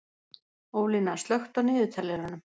Ólína, slökktu á niðurteljaranum.